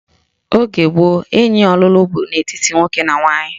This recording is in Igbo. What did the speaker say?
Oge gboo, enyi ọlụlụ bụ n'etiti nwoke na nwaanyị